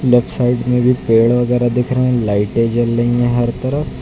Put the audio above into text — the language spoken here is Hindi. लेफ्ट साइट में भी पेड़ वगैरह दिख रहे हैं लाइटें जल रही है हर तरफ।